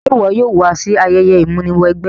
Se wo yóò wa si ayẹyẹ ìmúniwẹgbẹ́?